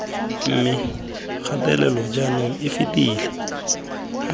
mme kgatelelo jaanong e fetela